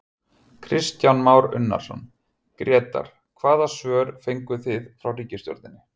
Kristján Már Unnarsson, Grétar hvaða svör fenguð þið frá ríkisstjórninni?